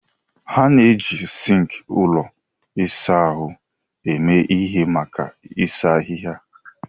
A na-eji sink ụlọ ịsa ahụ eme ihe maka ịsa ahịhịa.